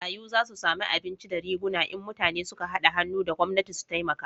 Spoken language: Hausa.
Marayu za su samu abinci da riguna in mutane su ka hada hannu da gwamnati su taimaka